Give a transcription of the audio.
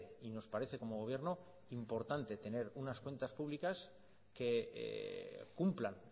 y nos parece como gobierno importante tener unas cuentas públicas que cumplan